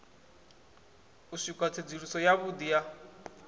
u swikela tsedzuluso yavhudi ya